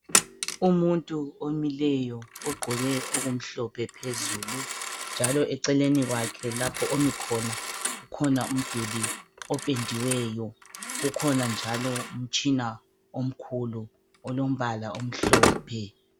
Umuntu omileyo ugqoke okumhlophe phezulu njalo eceleni kwakhe lapha ami khona kukhona umduli opendiweyo kukhona njalo umtshina omkhulu olombala omhlophe.